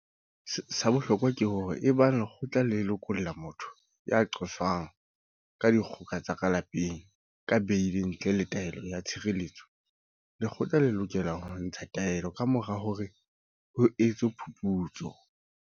Sa bohlokwa ke hore ebang lekgotla le lokolla motho ya qoswang ka dikgoka tsa ka lapeng ka beili ntle le taelo ya tshireletso, lekgotla le lokela ho ntsha taelo eo kamora hore ho etswe phuputso.